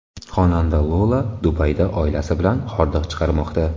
Xonanda Lola Dubayda oilasi bilan hordiq chiqarmoqda.